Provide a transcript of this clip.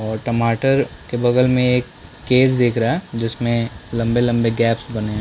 और टमाटर के बगल में एक केस दिख रहा है जिसमे लम्बे-लम्बे गेपस बने है।